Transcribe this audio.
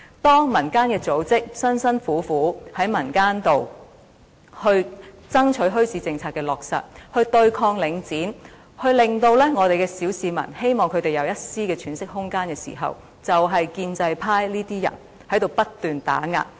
當民間組織辛辛苦苦地在民間爭取墟市政策的落實，對抗領展，希望小市民有一絲的喘息空間時，便是建制派這些人不斷打壓。